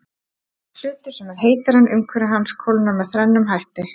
Hlutur sem er heitari en umhverfi hans kólnar með þrennum hætti.